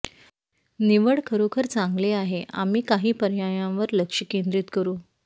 निवड खरोखर चांगले आहे आम्ही काही पर्यायांवर लक्ष केंद्रित करू